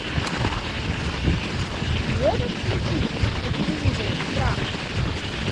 можешь включить на телевизоре франс